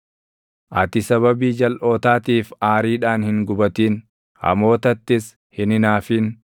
Ati sababii jalʼootaatiif aariidhaan hin gubatin; hamootattis hin hinaafin.